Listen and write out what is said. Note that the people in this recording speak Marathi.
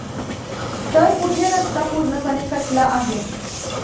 तर कुठे रस्ता पूर्णपणे कटला आहे.